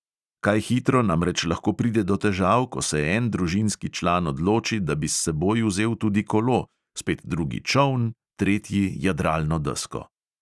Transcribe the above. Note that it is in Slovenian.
Kaj hitro namreč lahko pride do težav, ko se en družinski član odloči, da bi s seboj vzel tudi kolo, spet drugi čoln, tretji jadralno desko ...